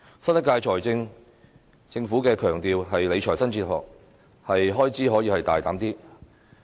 新一屆政府強調理財新哲學，可以大膽增加開支。